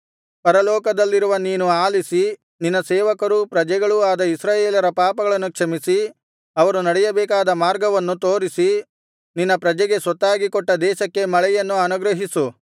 ಪರಲೋಕದಲ್ಲಿರುವ ನೀನು ಆಲಿಸಿ ನಿನ್ನ ಸೇವಕರೂ ಪ್ರಜೆಗಳೂ ಆದ ಇಸ್ರಾಯೇಲರ ಪಾಪಗಳನ್ನು ಕ್ಷಮಿಸಿ ಅವರು ನಡೆಯಬೇಕಾದ ಮಾರ್ಗವನ್ನು ತೋರಿಸಿ ನಿನ್ನ ಪ್ರಜೆಗೆ ಸ್ವತ್ತಾಗಿ ಕೊಟ್ಟ ದೇಶಕ್ಕೆ ಮಳೆಯನ್ನು ಅನುಗ್ರಹಿಸು